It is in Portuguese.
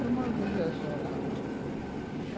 Era uma organização lá, uma